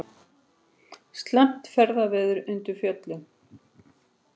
Slæmt ferðaveður undir Fjöllunum